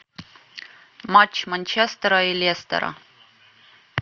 матч манчестера и лестера